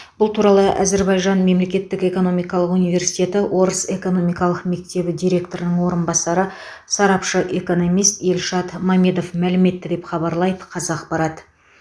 бұл туралы әзербажан мемлекеттік экономикалық университеті орыс экономикалық мектебі директорының орынбасары сарапшы экономист эльшад мамедов мәлім етті деп хабарлайды қазақпарат